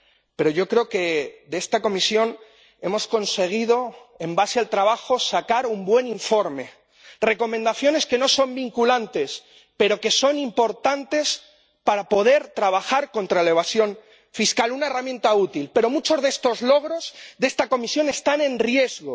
Pero yo creo que de esta comisión hemos conseguido, en base al trabajo, sacar un buen informe recomendaciones que no son vinculantes pero que son importantes para poder trabajar contra la evasión fiscal, una herramienta útil. Pero muchos de los logros de esta comisión están en riesgo.